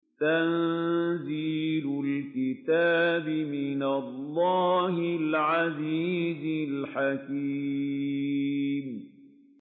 تَنزِيلُ الْكِتَابِ مِنَ اللَّهِ الْعَزِيزِ الْحَكِيمِ